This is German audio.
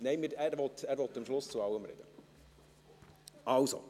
– Nein, er will am Schluss zu allem sprechen.